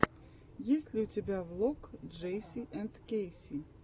есть ли у тебя влог джейси энд кэйси